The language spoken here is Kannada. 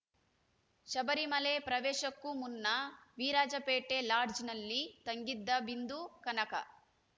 ಶಬರಿಮಲೆ ಪ್ರವೇಶಕ್ಕೂ ಮುನ್ನ ವಿರಾಜಪೇಟೆ ಲಾಡ್ಜ್‌ನಲ್ಲಿ ತಂಗಿದ್ದ ಬಿಂದು ಕನಕ